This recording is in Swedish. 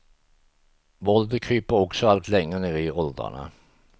Våldet kryper också allt längre ner i åldrarna.